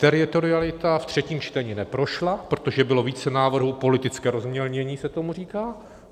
Teritorialita ve třetím čtení neprošla, protože bylo více návrhů - politické rozmělnění se tomu říká.